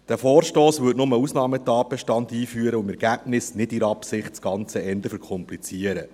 Der Vorstoss würde nur einen Ausnahmetatbestand einführen und im Ergebnis, nicht in der Absicht, das Ganze eher verkomplizieren.